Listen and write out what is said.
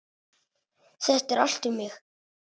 Þetta er allt um mig!